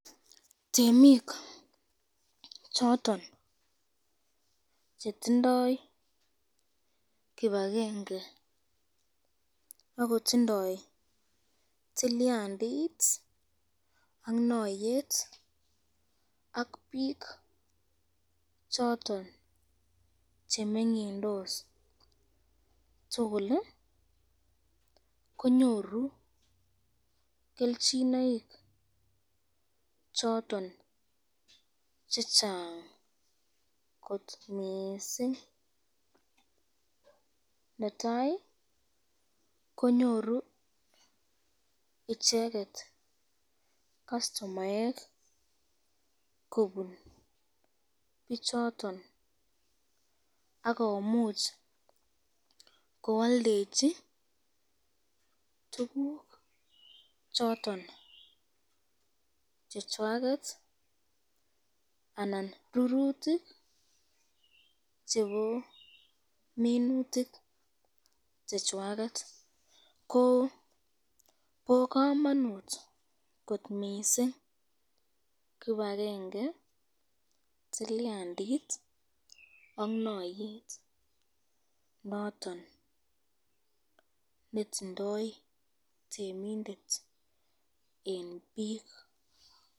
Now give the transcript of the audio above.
Temik choton chetindoi kibakenge akotindoi tilyandit ak nayet ak bik choton chemengyindos tukul konyoru kelchinoik choton chechang kot mising, netai konyoru icheket kastomaek kobun bichoton akomuch koaldechi tukuk choton chechwaket anan rurutik chebo minutik chechwaket, ko bo kamanut kot missing kipakenge, tilyandit ak nayet noton netindo temindet eng bik